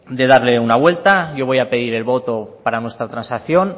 de darle una vuelta yo voy a pedir el voto para nuestra transacción